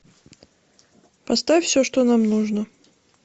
поставь все что нам нужно